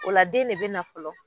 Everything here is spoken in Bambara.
O la den de bɛ na fɔlɔ